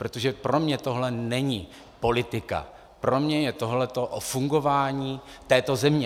Protože pro mě tohle není politika, pro mě je tohleto o fungování této země.